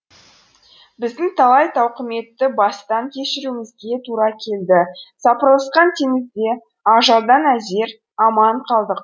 біздің талай тауқыметті бастан кешіруімізге тура келді сапырылысқан теңізде ажалдан әзер аман қалдық